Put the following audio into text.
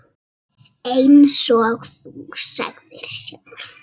Eins og þú sagðir sjálf.